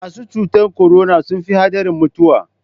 Masu cutar korona sun fi haɗarin mutuwa.